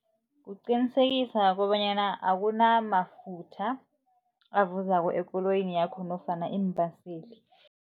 Kuqinisekisa kobanyana akunamafutha avuzako ekoloyini yakho nofana iimbaseli.